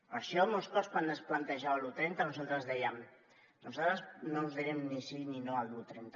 per això molts cops quan es plantejava l’un trenta nosaltres dèiem nosaltres no us direm ni sí ni no a l’un trenta